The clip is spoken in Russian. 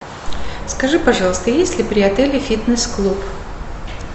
скажи пожалуйста есть ли при отеле фитнес клуб